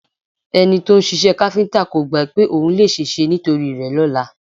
Ẹni to ń ṣiṣẹ́ káfíńtà kò gbá pé ohun lè ṣèṣe nítorí rẹ lọ́la